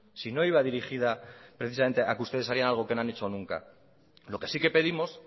si no iba dirigida precisamente a que ustedes harían algo que no han hecho nunca lo que sí que pedimos